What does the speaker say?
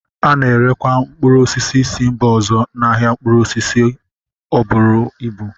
A na-erekwa mkpụrụ osisi si mba ọzọ n'ahịa mkpụrụ osisi buru ịbu